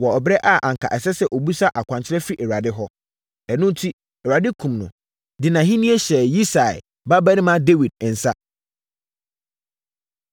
wɔ ɛberɛ a anka ɛsɛ sɛ ɔbisa akwankyerɛ firi Awurade hɔ. Ɛno enti, Awurade kumm no, de nʼahennie hyɛɛ Yisai babarima Dawid nsa.